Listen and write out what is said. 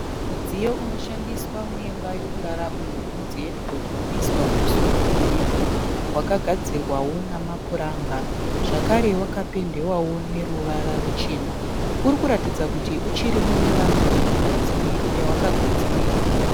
Mudziyo unoshandiswa muimba yekurara uyo unonzi hedhibhodhi unoiswa kumusoro kwemubhedha. Wakagadzirwawo nemapuranga zvekare wakapendwa nependi chena. Uchiri kuratidza kuti uchiri muimba yawakagadzirirwa.